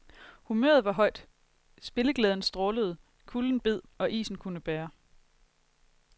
Humøret var højt, spilleglæden strålede, kulden bed, og isen kunne bære.